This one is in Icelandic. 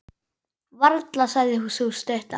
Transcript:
Varla, sagði sú stutta.